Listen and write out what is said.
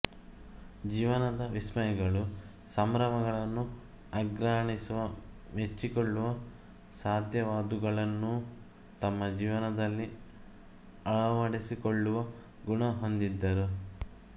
ಜೀವನದ ವಿಸ್ಮಯಗಳು ಸಂಭ್ರಮಗಳನ್ನು ಆಘ್ರಾಣಿಸುವ ಮೆಚ್ಚಿಕೊಳ್ಳುವ ಸಾಧ್ಯವಾದವುಗಳನ್ನೂ ತಮ್ಮ ಜೀವನದಲ್ಲಿ ಅಳವಡಿಸಿಕೊಳ್ಳುವ ಗುಣ ಹೊಂದಿದ್ದರು